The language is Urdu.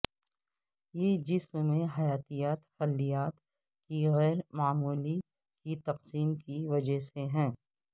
یہ جسم میں حیاتیاتی خلیات کی غیر معمولی کی تقسیم کی وجہ سے ہے